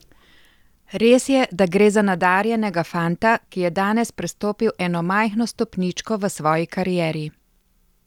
Res je, da gre za nadarjenega fanta, ki je danes prestopil eno majhno stopničko v svoji karieri.